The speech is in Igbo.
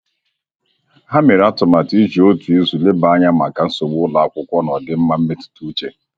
Ha mere atụmatụ iji otu izu leba anya maka nsogbu ụlọakwụkwọ na ọdịmma mmetụta uche